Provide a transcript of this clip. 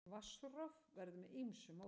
Vatnsrof verður með ýmsu móti.